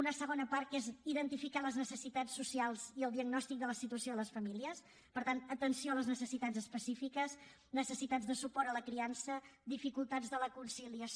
una segona part que és identificar les necessitats socials i el diagnòstic de la situació de les famílies per tant atenció a les necessitats específiques necessitats de suport a la criança dificultats de la conciliació